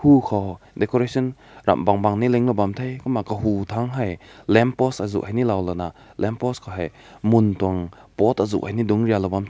ou kaw decoration ram bang bang link na bam te kumna kagu ko lamp post azu ni lao ona lamp post ko hae mun tung pot azu dung ri law heh.